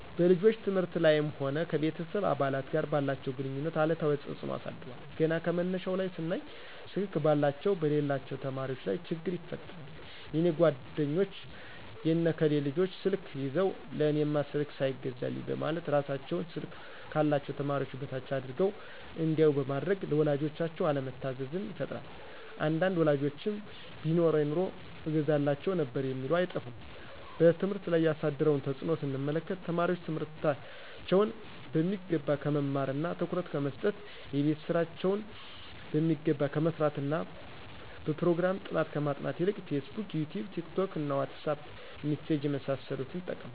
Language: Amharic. በልጆች ትምህርት ላይም ሆነ ከቤተሰብ አባላት ጋር ባላቸው ግንኙነት አሉታዊ ተጽኖ አሳድሯል ገና ከመነሻው ላይ ስናይ ስልክ ባላቸውና በሌላቸው ተማሪወች ላይ ችግር ይፈጥራል የኔ ጓደኞች የነ ከሌ ልጆች ስልክ ይዘው ለእኔማ ስልክ ሳይገዛልኝ በማለት እራሳቸውን ስልክ ካላቸው ተማሪዎች በታች አድርገው እንዲያዮ በማድረግ ለወላጆቻቸው አለመታዘዝን ይፈጥራል አንዳንድ ወላጆችም ቢኖረኝ ኑሮ እገዛላቸው ነበር የሚሉ አይጠፉም። በትምህርት ላይ ያሳደረውን ተጽኖ ስንመለከት ተማሪወች ትምህርታቸውን በሚገባ ከመማርና ትኩረት ከመሰጠት :የቤት ስራቸውን በሚገባ ከመስራትና በጵሮግራም ጥናት ከማጥናት ይልቅ ፌስቡክ :ይቲዩብ :ቲክቶክ: ዋትሳጵ: ሚሴጅ የመሳሰሉት